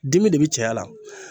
Dimi de bi cɛya la